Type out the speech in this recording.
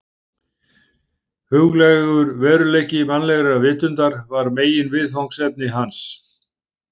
Huglægur veruleiki mannlegrar vitundar var meginviðfangsefni hans.